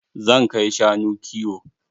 Zan kai shanu kiwo.